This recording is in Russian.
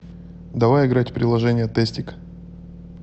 давай играть в приложение тестик